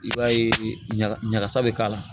I b'a ye ɲaga ɲagasa be k'a la